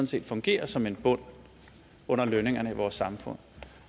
set fungerer som en bund under lønningerne i vores samfund